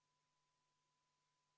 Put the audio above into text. Saame minna järgmise muudatusettepaneku juurde.